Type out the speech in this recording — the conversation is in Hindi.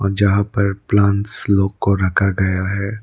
जहां पर प्लांट्स लोग को रखा गया है।